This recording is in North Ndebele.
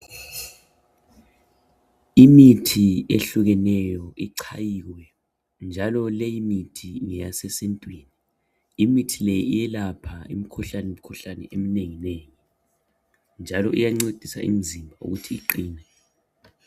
Imithi ehlukeneyo ichayiwe njalo leyimithi ngeyasesintwini .Imithi le iyelapha imikhuhlane eminengi nengi njalo iyancedisa imizimba ukuthi iqine.